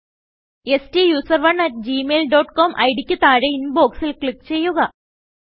സ്റ്റൂസറോണ് at Gmail dot com ID ക്ക് താഴെ Inboxൽ ക്ലിക്ക് ചെയ്യുക